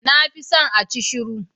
Na fi son acishiru